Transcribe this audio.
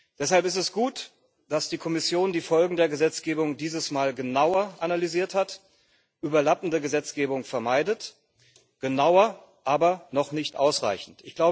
Deshalb ist es gut, dass die Kommission die Folgen der Gesetzgebung dieses Mal genauer analysiert hat, überlappende Gesetzgebung vermeidet, genauer, aber noch nicht ausreichend.